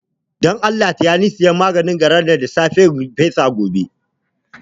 Don Allah taya ni sayan maganin gara in fesa a katakon nan gobe